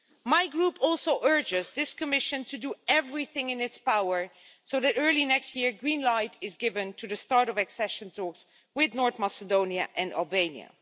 My Group also urges this Commission to do everything in its power so that early next year a green light is given to the start of accession talks with North Macedonia and Albania.